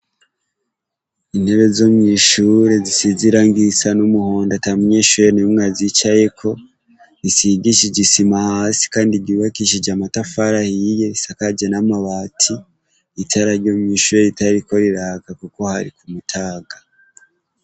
Intebe zo mw'ishure zisize irangi risa n'umuhondo ata munyeshure n'umwe azicayeko rigishije isima kandi ryubakishije amatafari ahiye risakaje n'amabati itara ryo mw'ishure ritariko riraka kuko hari ku mutaga.